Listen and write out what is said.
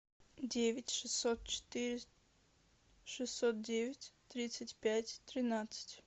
девять шестьсот четыре шестьсот девять тридцать пять тринадцать